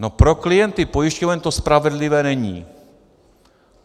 No, pro klienty pojišťoven to spravedlivé není!